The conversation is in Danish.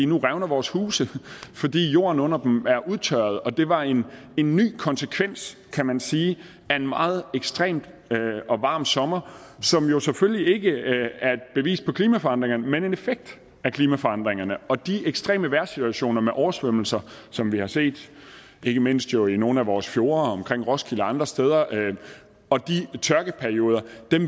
nu revner vores huse fordi jorden under dem er udtørret det var en ny konsekvens kan man sige af en meget ekstrem og varm sommer som jo selvfølgelig ikke er et bevis på klimaforandringerne men en effekt af klimaforandringerne og de ekstreme vejrsituationer med oversvømmelser som vi har set ikke mindst jo i nogle af vores fjorde omkring roskilde og andre steder og de tørkeperioder